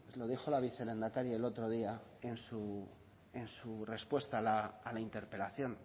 lo dijo la vicelehendakari el otro día en su respuesta a la interpelación